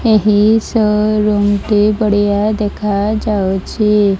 ଏହି showroom ଟି ବଢିଆ ଦେଖା ଯାଉଚି ।